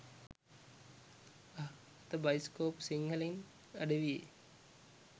අහ් අද බයිස්කෝප් සිංහලෙන් අඩවියේ